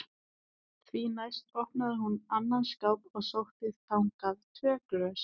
Því næst opnaði hún annan skáp og sótti þangað tvö glös.